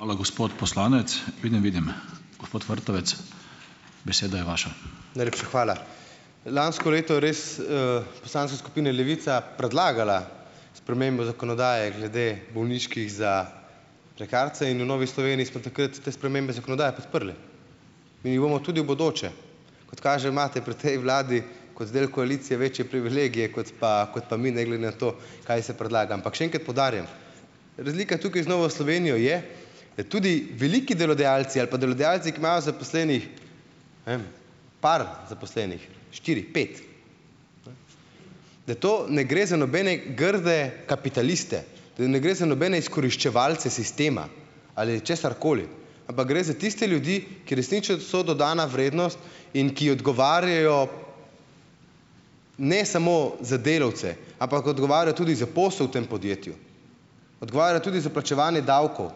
Najlepša hvala. Lansko leto res poslanska skupina Levica predlagala spremembo zakonodaje glede bolniških za prekarce in v Novi Sloveniji smo takrat te spremembe zakonodaje podprli in jih bomo tudi v bodoče. Kot kaže, imate pri tej vladi kot del koalicije večje privilegije kot pa, kot pa mi, ne glede na to, kaj se predlaga. Ampak še enkrat poudarjam, razlika tukaj z Novo Slovenijo je, da tudi veliki delodajalci ali pa delodajalci, ki imajo zaposlenih, pri zaposlenih, štiri, pet, da to ne gre za nobene grde kapitaliste, da ne gre za nobene izkoriščevalce sistema ali česarkoli, ampak gre za tiste ljudi, ki so dodana vrednost in ki odgovarjajo ne samo za delavce, ampak odgovarjajo tudi za posel v tem podjetju, odgovarjajo tudi za plačevanje davkov,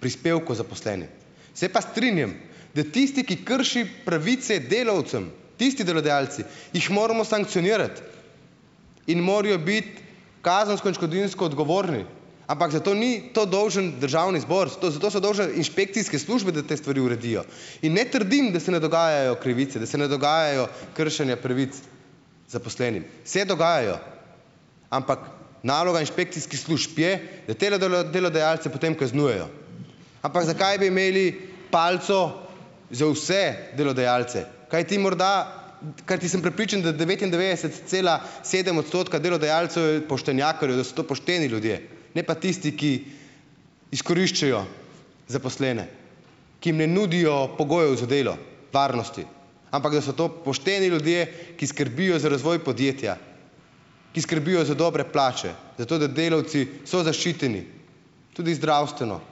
prispevkov zaposlenih. Se pa strinjam, da tisti, ki krši pravice delavcem, tisti delodajalci, jih moramo sankcionirati in morajo biti kazensko in odškodninsko odgovorni, ampak za to ni to dolžan državni zbor, za to so dolžne inšpekcijske službe, da te stvari uredijo. In ne trdim, da se ne dogajajo krivice, da se ne dogajajo kršenja pravic zaposlenim. Se dogajajo, ampak naloga inšpekcijskih služb je, da delodajalce potem kaznujejo. Ampak zakaj bi imeli palico za vse delodajalce, kajti morda, kajti sem prepričan, da devetindevetdeset cela sedem odstotka delodajalcev je poštenjakarjev, da so to pošteni ljudje, ne pa tisti, ki izkoriščajo zaposlene, ki jim ne nudijo pogojev za delo, varnosti, ampak da so to pošteni ljudje, ki skrbijo za razvoj podjetja, ki skrbijo za dobre plače, zato da delavci so zaščiteni tudi zdravstveno.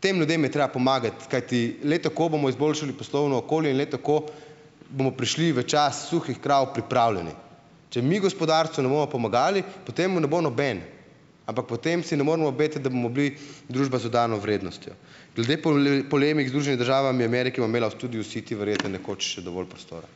Tem ljudem je treba pomagati, kajti le tako bomo izboljšali poslovno okolje in le tako bomo prišli v čas suhih krav pripravljeni. Če mi gospodarstvu ne bomo pomagali, potem mu ne bo noben, ampak potem si ne moremo obetati, da bomo bili družba z dodano vrednostjo. Glede polemik z Združenimi državami Amerike ua imela tudi vsi ti verjetno nekoč še dovolj prostora.